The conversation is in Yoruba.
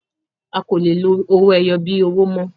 A kọ lè lo owó ẹyọ bí owó mọ